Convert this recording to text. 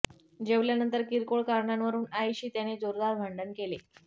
जेवल्यानंतर किरकोळ कारणावरून आईशी त्याने जोरदार भांडण केले